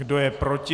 Kdo je proti?